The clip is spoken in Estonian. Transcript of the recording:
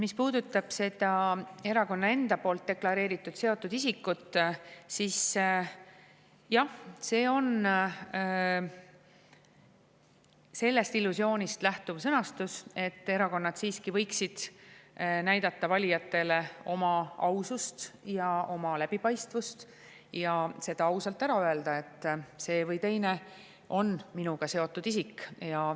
Mis puudutab seda erakonna enda poolt deklareeritud seotud isikut, siis jah, see sõnastus lähtub illusioonist, et erakonnad siiski võiksid näidata valijatele oma ausust ja oma läbipaistvust ja ausalt ära öelda, et see või teine on temaga seotud isik.